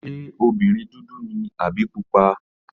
Ṣé obìnrin dúdú ni àbí pupa?